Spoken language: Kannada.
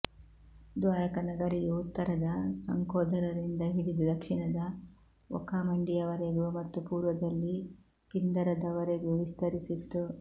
ದ್ವಾರಕ ನಗರಿಯು ಉತ್ತರದ ಸಂಕೋಧರದಿಂದ ಹಿಡಿದು ದಕ್ಷಿಣದ ಒಖಾಮಂಡಿಯವರೆಗು ಮತ್ತು ಪೂರ್ವದಲ್ಲಿ ಪಿಂದರದವರೆಗೂ ವಿಸ್ತರಿಸಿತ್ತು